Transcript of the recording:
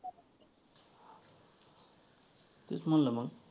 तेच म्हंटल मग.